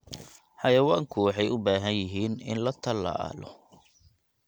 Xayawaanku waxay u baahan yihiin in la tallaalo.